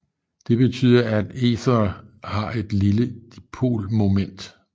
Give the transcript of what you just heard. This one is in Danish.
Det betyder at ethere har et lille dipolmoment